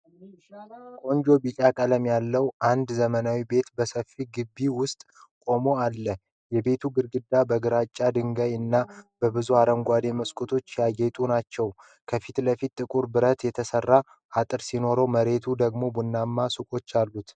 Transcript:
ቆንጆ ቢጫ ቀለም ያለው አንድ ዘመናዊ ቤት በሰፊው ግቢ ውስጥ ቆሞ አለ። የቤቱ ግድግዳዎች በግራጫ ድንጋይ እና በብዙ አረንጓዴ መስኮቶች ያጌጡ ናቸው። ከፊት ለፊቱ ጥቁር ብረት የተሰራ አጥር ሲኖር መሬቱ ደግሞ ቡናማ ሰቆች አሉት።